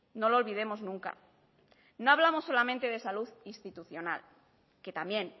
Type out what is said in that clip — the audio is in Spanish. no lo olvidemos nunca no hablamos solamente de salud institucional que también